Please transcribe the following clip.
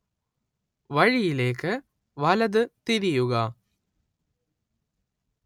വഴിയിലേക്ക് വലത് തിരിയുക